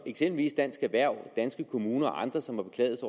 eksempelvis dansk erhverv